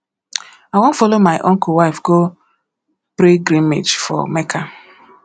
i wan follow my uncle wife go pilgrimage for mecca